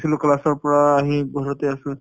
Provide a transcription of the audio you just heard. গৈছিলো class পৰা আহি ঘৰতে আছোঁ ।